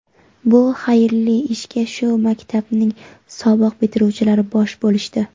Bu xayrli ishga shu maktabning sobiq bitiruvchilari bosh bo‘lishdi.